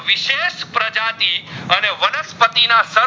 પતિ ના સર